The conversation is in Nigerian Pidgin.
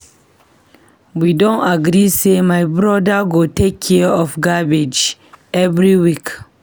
We don agree say my brother go take care of the garbage every week.